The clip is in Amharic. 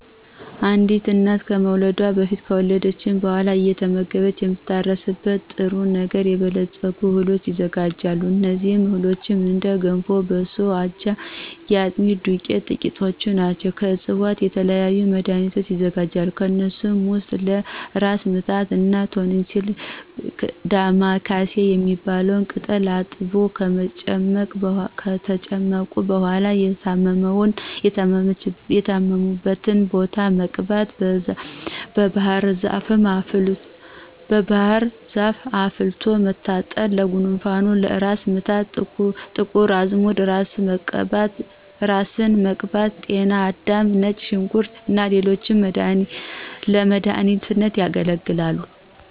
አንዲት እናት ከመውለዷ በፊት ከወለደች በኋላ አየተመገበች የምትታረስበትን በ ንጥረ ነገር የበለፀጉ እህሎች ይዘጋጁላታል። እነዚህ እህሎችም እንደ ገንፎ፣ በሶ፣ አጃ፣ የአጥሚት ዱቄት ጥቂቶቹ ናቸው። ከዕፅዋቶች የተለያዩ መድኋኒቶች ይዘጋጃሉ። ከነሱም ውስጥ ለ እራስ ምታት እና ቶንሲል ዳማ ካሴ የሚባል ቅጠል አጥቦ ከጨቀጨቁ በኋላ የታመሙበትን ቦታ መቀባት፣ ባህርዛፍ አፍልቶ መታጠን ለጉንፋን፣ ለ እራስ ምታት ጥቁር አዝሙድ እራስን መቀባት፣ ጤና አዳም፣ ነጭ ሽንኩርት እና ሌሎችም ለመዳኒትነት ያገለግላሉ።